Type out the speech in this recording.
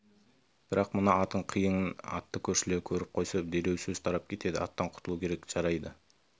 бірақ мына атың қиын атты көршілер көріп қойса дереу сөз тарап кетеді аттан құтылу керек жарайды